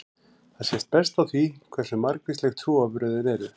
Þetta sést best á því hversu margvísleg trúarbrögðin eru.